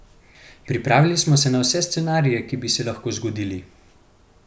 Pripravili smo se na vse scenarije, ki bi se lahko zgodili.